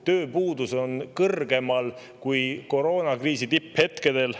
Tööpuudus on kõrgem kui koroonakriisi tipphetkedel.